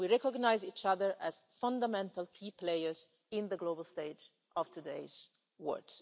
today. We recognise each other as fundamental key players on the global stage of today's